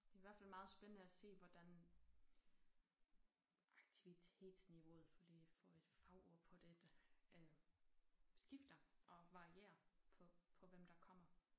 Det i hvert fald meget spændende at se hvordan aktivitetsniveauet for lige at få et fagord på det øh skifter og varierer på på hvem der kommer